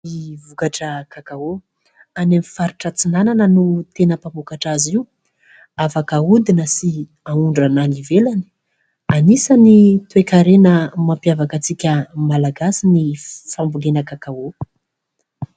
Ny vokatra kakao. Any amin'ny faritra Antsinanana no tena mpamokatra azy io. Afaka ahodina sy aondrana any ivelany. Anisan'ny toe-karena mampiavaka antsika malagasy ny fambolena kakao.